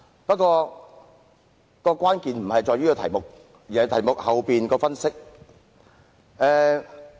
但是，關鍵並非在於題目，而是題目背後的分析。